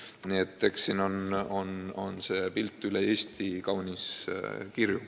Nii et pilt üle Eesti on kaunis kirju.